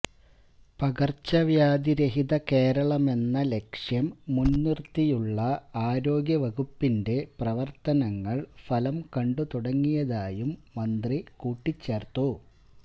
പകര്ച്ചവ്യാധി രഹിത കേരളമെന്ന ലക്ഷ്യം മുന്നിര്ത്തിയുള്ള ആരോഗ്യ വകുപ്പിന്റെ പ്രവര്ത്തനങ്ങള് ഫലം കണ്ടുതുടങ്ങിയതായും മന്ത്രി കൂട്ടിച്ചേര്ത്തു